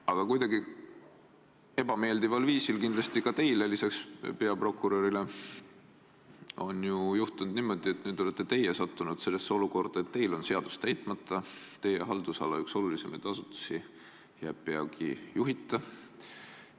Aga kindlasti peale teie ka peaprokurörile ebameeldival moel on nüüd juhtunud niimoodi, et te olete sattunud olukorda, kus teil on seadus täitmata ja üks teie haldusala olulisimaid asutusi jääb peagi juhita.